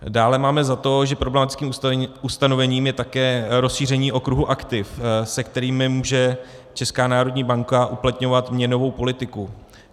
Dále máme za to, že problematickým ustanovením je také rozšíření okruhu aktiv, se kterými může Česká národní banka uplatňovat měnovou politiku.